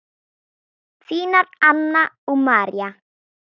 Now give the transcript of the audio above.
Þínar Anna og María.